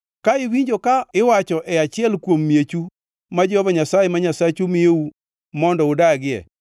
Ka iwinjo ka iwacho e achiel kuom miechu ma Jehova Nyasaye ma Nyasachu miyou mondo udagie